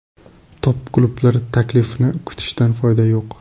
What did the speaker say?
Top klublar taklifini kutishdan foyda yo‘q.